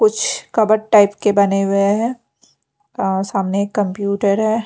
कुछ cupboard type के बने हुए हैं सामने एक कंप्यूटर है।